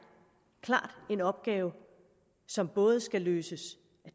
en opgave som både skal løses